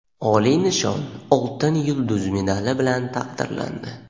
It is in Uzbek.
oliy nishon – "Oltin yulduz" medali bilan taqdirlandi.